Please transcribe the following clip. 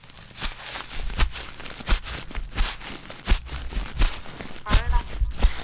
പറയെടാ